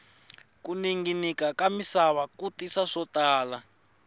ku ninginika ka misava ku tisa swo tala